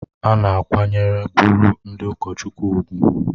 A na-akwanyere bụrụ ndị ụkọchukwu ùgwù